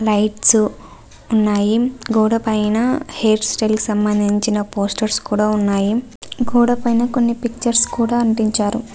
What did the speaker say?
Lights ఉన్నాయి. గోడ పైన హెయిర్ స్టైల్ కి సంభందించిన పోస్టర్స్ కూడా ఉన్నాయి. గోడ పైన కొన్ని పిక్చర్స్ కూడా అంటించారు.